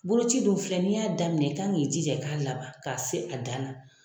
Boloci dun filɛ n'i y'a daminɛ i kan k'i jija i k'a laban k'a se a dan na.